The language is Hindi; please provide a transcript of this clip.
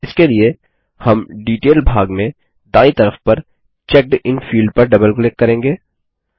इसके लिए हम डिटेल भाग में दायीं तरफ पर चेकडिन फील्ड पर डबल क्लिक करेंगे